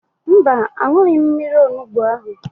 Mba, an̄ụghị m mmiri onugbo ahụ.